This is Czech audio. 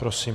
Prosím.